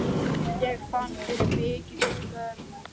Ég fann fyrir mikilli skömm.